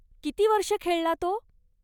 किती वर्षं खेळला तो?